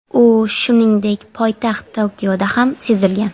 U, shuningdek, poytaxt Tokioda ham sezilgan.